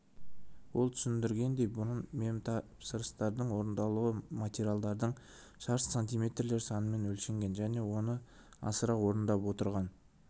ол түсіндіргендей бұрын мемтапсырыстардың орындалуы материалдардың шаршы сантиметрлер санымен өлшенген және оны асыра орындап отырған